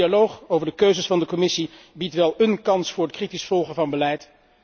De strategische dialoog over de keuzes van de Commissie biedt wel een kans voor het kritisch volgen van beleid.